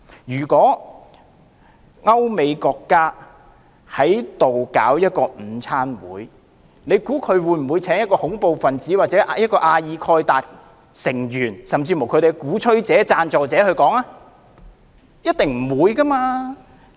如果歐美國家在香港舉辦午餐座談會，大家認為他們會否邀請恐怖分子、阿爾蓋達成員，甚或恐怖主義的鼓吹者或贊助者前來演說嗎？